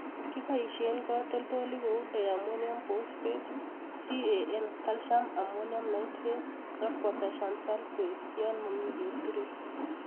Kiboisien katoltolik kou Diammonium Phosphate, CAN (calcium ammonium nitrate and potassium sulphate) yon momi keturek